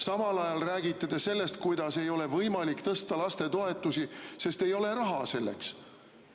Samal ajal räägite te sellest, kuidas ei ole võimalik tõsta lastetoetusi, sest ei ole raha selleks.